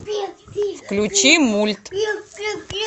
включи мульт